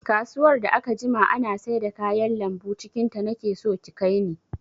Kasuwar da aka jima ana saida kayan lambu cikin ta, nake so ki kai ni!